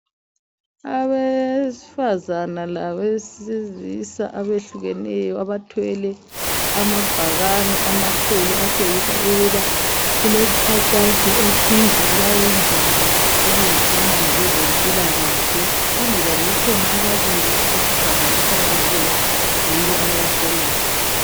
Abesifazana labesilisa abehlukeneyo abathwele amabhakane amakhulu atshengisa ukuthi kungabe kulomkhankaso othize abawenzayo ohambisana lokwezempilakahle. Phambi kwabo kukhona ababili abesifazane okukhanya kuyibo ababaholayo.